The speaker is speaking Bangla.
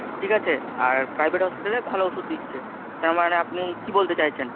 ঠিক আছে? আর private hospital এ ভালো ওষুধ দিচ্ছে, তার মানে আপনি কি বলতে চাইছেন?